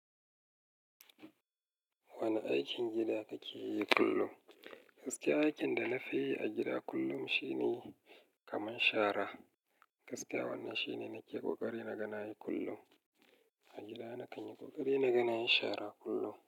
Wane aikin gida kake yi kullum? Gaskiya, aikin da na fi yi a gida kullum shine kaman shara. Gaskiya wannan shine na ke kokari na ga nayi kullum. A gida na kan yi kokari na ganayi shara kullum.